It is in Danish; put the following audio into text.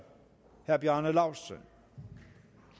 herre bjarne laustsen